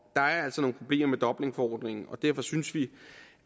der er altså nogle problemer med dublinforordningen og derfor synes vi